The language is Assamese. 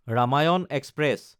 ৰামায়ণ এক্সপ্ৰেছ